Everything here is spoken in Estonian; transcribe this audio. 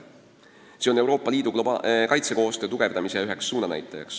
See on üks Euroopa Liidu kaitsekoostöö tugevdamise suunanäitaja.